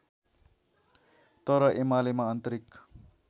तर एमालेमा आन्तरिक